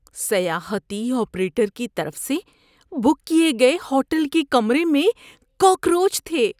سیاحتی آپریٹر کی طرف سے بک کیے گئے ہوٹل کے کمرے میں کاکروچ تھے۔